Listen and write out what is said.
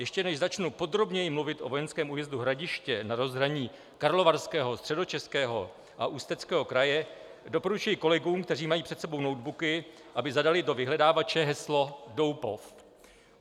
Ještě než začnu podrobněji mluvit o vojenském újezdu Hradiště na rozhraní Karlovarského, Středočeského a Ústeckého kraje, doporučuji kolegům, kteří mají před sebou notebooky, aby zadali do vyhledávače heslo Doupov.